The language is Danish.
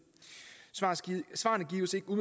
svarene gives ikke